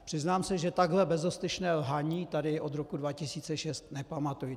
Přiznám se, že takhle bezostyšné lhaní tady od roku 2006 nepamatuji.